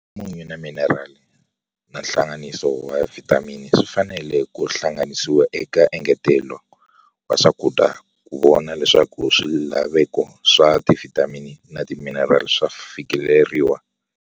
Xa munyu na minirali na nhlanganiso wa vhitamini swi fanele ku hlanganisiwa eka engetelo wa swakudya ku vona leswaku swilaveko swa tivhitamini na timinirali swa fikeleriwa.